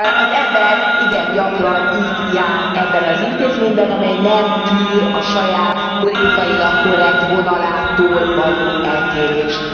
Az ember igen gyakran így jár ebben az intézményben, amely nem tűr a saját, politikailag korrekt vonalától való eltérést.